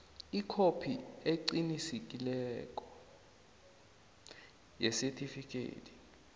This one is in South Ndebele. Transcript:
ikhophi eqinisekisiweko yesitifikhethi